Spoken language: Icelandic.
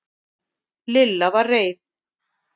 Lilla var reið.